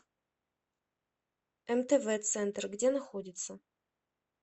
мтв центр где находится